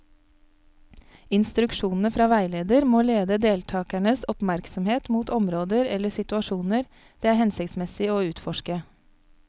Instruksjonene fra veileder må lede deltakernes oppmerksomhet mot områder eller situasjoner det er hensiktsmessig å utforske.